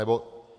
Anebo...